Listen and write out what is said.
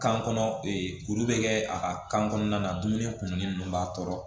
Kan kɔnɔ kuru bɛ kɛ a ka kan kɔnɔna na dumuni kunni ninnu b'a tɔɔrɔ